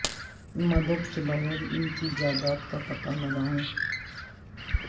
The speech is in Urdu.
مدد کے بغیر ان کی جائیداد کا پتہ لگائیں